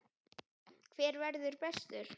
Hver verður bestur?